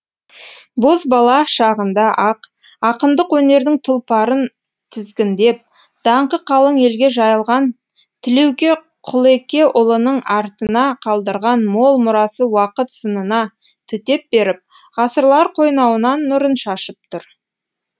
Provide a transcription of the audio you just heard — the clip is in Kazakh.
бозбала шағында ақ ақындық өнердің тұлпарын тізгіндеп даңқы қалың елге жайылған тілеуке құлекеұлының артына қалдырған мол мұрасы уақыт сынына төтеп беріп ғасырлар қойнауынан нұрын шашып тұр